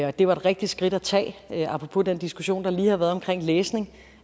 og det var et rigtigt skridt at tage apropos den diskussion der lige har været omkring læsning